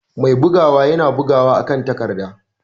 Mai bugawa yana bugawa akan takarda.